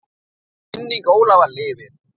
Minning Ólafar lifir.